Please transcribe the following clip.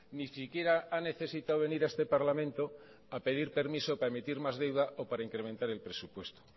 ni siquiera ha necesitado venir a este parlamento a pedir permiso para emitir más deuda o para incrementar el presupuesto